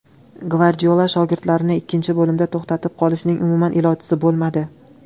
Gvardiola shogirdlarini ikkinchi bo‘limda to‘xtatib qolishning umuman ilojisi bo‘lmadi.